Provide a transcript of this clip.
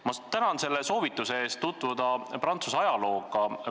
Ma tänan soovituse eest tutvuda Prantsuse ajalooga.